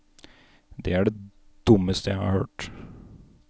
Det er det dummeste jeg har hørt.